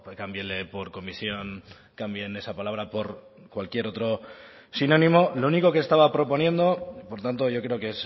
cámbienle por comisión cambien esa palabra por cualquier otro sinónimo lo único que estaba proponiendo por tanto yo creo que